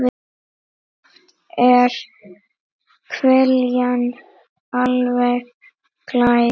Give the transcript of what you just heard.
Oft er hveljan alveg glær.